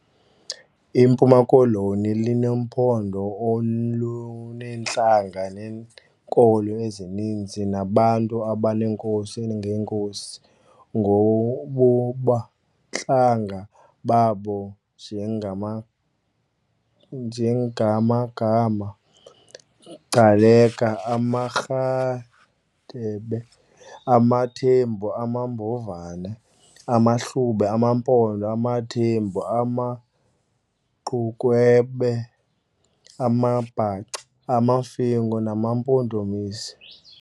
IMpuma Koloni lunompondo oluneentlanga neenkolo ezininzi, nabantu abaneenkosi ngeenkosi ngobobuhlanga babo njengama njengamagama Gcaleka, amaRhadebe, abaThembu, amaBomvana, amaHlubi, amaMpondo, abaThembu, ama Gqunukhwebe, amaBhaca, amaMfengu namaMpondomise.